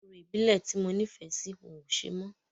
Orò ìbílẹ̀ ti mo nífẹ̀ẹ́ sí wọ́n o ṣe mọ́.